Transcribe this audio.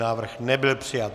Návrh nebyl přijat.